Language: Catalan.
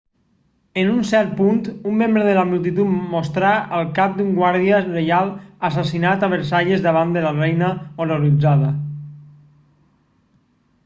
en un cert punt un membre de la multitud mostrà el cap d'un guàrdia reial assassinat a versalles davant de la reina horroritzada